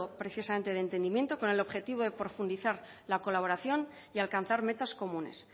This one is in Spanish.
precisamente de entendimiento con el objetivo de profundizar la colaboración y alcanzar metas comunes